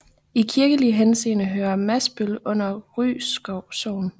I kirkelig henseende hører Masbøl under Rylskov Sogn